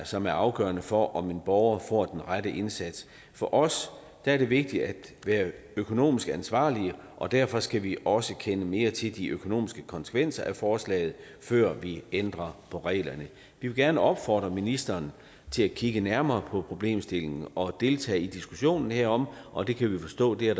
som er afgørende for om en borger får den rette indsats for os er det vigtigt at være økonomisk ansvarlige og derfor skal vi også kende mere til de økonomiske konsekvenser af forslaget før vi ændrer på reglerne vi vil gerne opfordre ministeren til at kigge nærmere på problemstillingen og deltage i diskussionen herom og det kan vi forstå der